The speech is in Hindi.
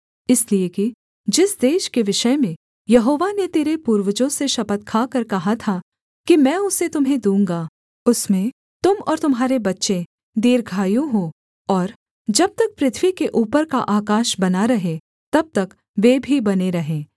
इसलिए कि जिस देश के विषय में यहोवा ने तेरे पूर्वजों से शपथ खाकर कहा था कि मैं उसे तुम्हें दूँगा उसमें तुम और तुम्हारे बच्चे दीर्घायु हों और जब तक पृथ्वी के ऊपर का आकाश बना रहे तब तक वे भी बने रहें